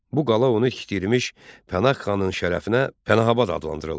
Bu qala onu tikdirmiş Pənah xanın şərəfinə Pənahabad adlandırıldı.